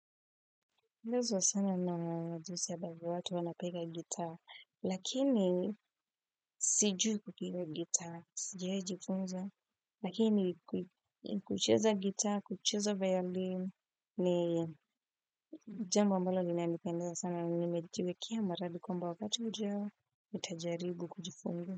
Napendezwa sana jinsi ambavyo watu wanapiga gitaa, lakini sijui kupiga gitaa, sijawahi jifunza, lakini kucheza gitaa, kucheza violin, ni jambo ambalo linanipendeza sana, nimejiwekea mradi kwamba wakati ujao, nitajaribu kujifunza.